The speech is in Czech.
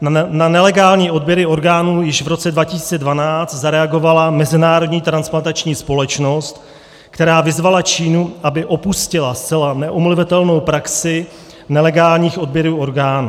Na nelegální odběry orgánů již v roce 2012 zareagovala Mezinárodní transplantační společnost, která vyzvala Čínu, aby opustila zcela neomluvitelnou praxi nelegálních odběrů orgánů.